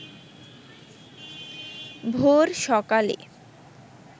ভোর সকালে